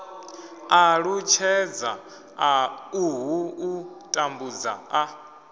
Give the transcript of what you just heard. ṱalutshedza uhu u tambudza a